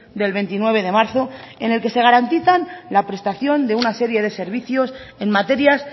del veintinueve de marzo en el que se garantizan la prestación de una serie de servicios en materias